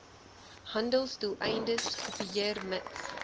handelsdoeleindes kopieer mits